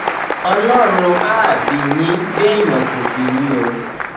ọlọrun áà bí yín béèyàn kò bí yín o